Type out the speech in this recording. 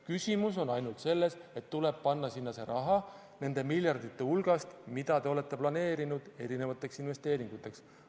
Küsimus on ainult selles, et tuleb panna sinna see raha nende miljardite hulgast, mida te olete planeerinud erinevateks investeeringuteks.